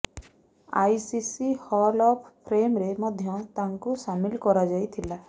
ICC hall of ଫେମ୍ରେ ମଧ୍ୟ ତାଙ୍କୁ ସାମିଲ କରାଯାଇଥିଲା